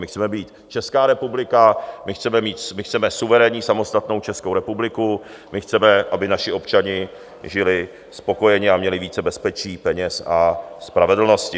My chceme být Česká republika, my chceme suverénní samostatnou Českou republiku, my chceme, aby naši občané žili spokojeně a měli více bezpečí, peněz a spravedlnosti.